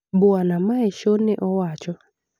Bwana Measho ne owacho